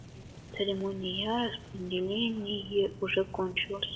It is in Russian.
церемония распределение уже кончилась